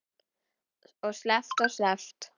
Og sleppt og sleppt.